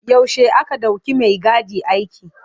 Yaushe aka ɗauki maigadi aiki.